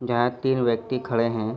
जहाँ तीन व्यक्ति खड़े हैं।